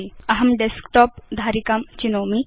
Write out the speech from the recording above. अहं डेस्कटॉप धारिकां चिनोमि